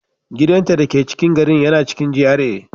Gidanta dake cikin garin yana cikin GRA